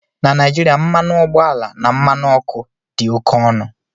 Na Naijiria, mmanụ ọgbọ ala na mmanụ ọkụ dị oke ọnụ